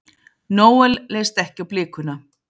Noel leist ekki á blikuna.